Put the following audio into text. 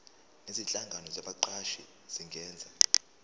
nezinhlangano zabaqashi zingenza